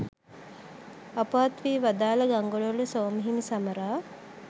අපවත් වී වදාළ ගංගොඩවිල සෝම හිමි සමරා